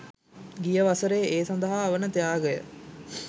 ගිය වසරෙ ඒ සදහා වන ත්‍යාගය